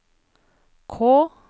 K